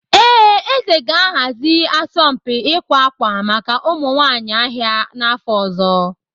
Ee, eze ga-ahazi asọmpi ịkwa akwa maka ụmụ nwanyị ahịa n'afọ ọzọ.